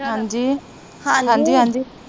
ਹਾਂਜੀ